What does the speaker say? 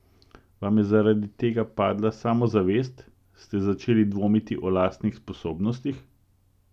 Vam je zaradi tega padla samozavest, ste začeli dvomiti o lastnih sposobnostih?